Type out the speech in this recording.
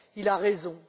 Il a raison.